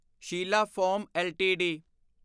Sheela foam LTD